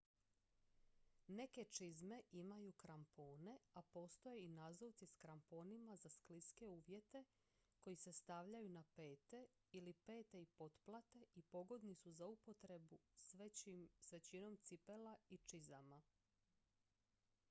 neke čizme imaju krampone a postoje i nazuvci s kramponima za skliske uvjete koji se stavljaju na pete ili pete i poplate i pogodni su za upotrebu s većinom cipela i čizama